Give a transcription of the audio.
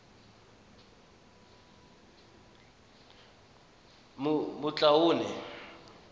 matloane